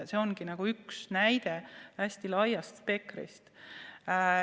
See ongi üks näide hästi laiast spektrist.